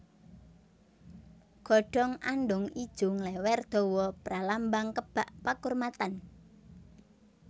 Godhong andhong ijo nglèwèr dawa pralambang kebak pakurmatan